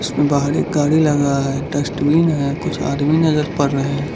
बाहर एक गाड़ी लगा है डस्टबिन है कुछ आदमी नजर पड़ रहे हैं।